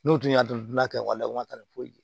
N'u tun y'a dɔn u tina kɛ waleyaw ma taa ni foyi ye